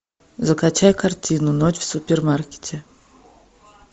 закачай картину ночь в супермаркете